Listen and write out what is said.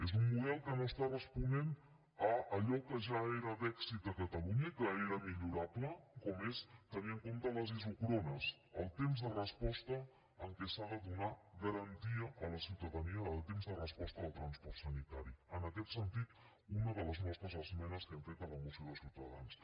és un model que no està responent a allò que ja era d’èxit a catalunya i que era millorable com és tenir en compte les isòcrones el temps de resposta en què s’ha de donar garantia a la ciutadania de temps de resposta del transport sanitari en aquest sentit una de les nostres esmenes que hem fet a la moció de ciutadans